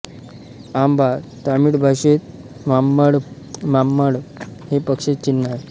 आंबा तमिळ भाषेतः माम्बळम्माम्पळम् हे पक्षाचे चिन्ह आहे